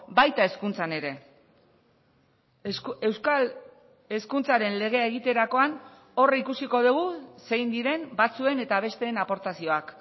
baita hezkuntzan ere euskal hezkuntzaren legea egiterakoan hor ikusiko dugu zein diren batzuen eta besteen aportazioak